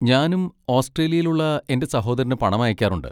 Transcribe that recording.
ഞാനും ഓസ്ട്രേലിയയിൽ ഉള്ള എന്റെ സഹോദരന് പണം അയക്കാറുണ്ട്.